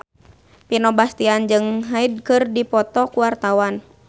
Vino Bastian jeung Hyde keur dipoto ku wartawan